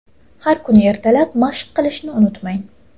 Har kuni ertalab mashq qilishni unutmang.